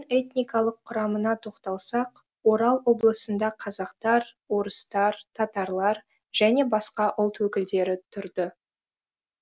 этникалық құрамына тоқталсақ орал облысында қазақтар орыстар татарлар және басқа ұлт өкілдері тұрды